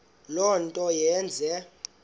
le nto yenze